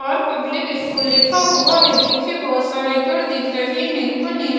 और public school लिखा हुआ है पीछे बहोत सारे पेड़ दिख रहे हैं ऊपर नी--